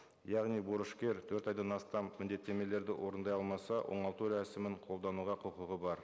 яғни борышкер төрт айдан астам міндеттемелерді орындай алмаса оңалту рәсімін қолдануға құқығы бар